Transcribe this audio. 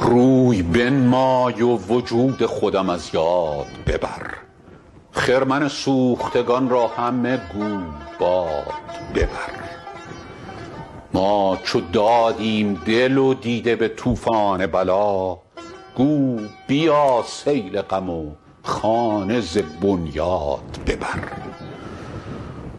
روی بنمای و وجود خودم از یاد ببر خرمن سوختگان را همه گو باد ببر ما چو دادیم دل و دیده به طوفان بلا گو بیا سیل غم و خانه ز بنیاد ببر